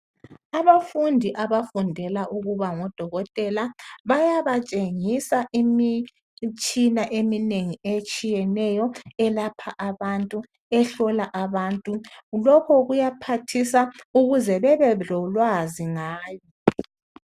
Abafundi abafundela ukuba ngodokotela bayabatshengisa imitshina eminengi, etshiyeneyo ephathisa abantu, elapha abantu. Lokhu kwenzelwa ukuthi babe lolwazi ngayo.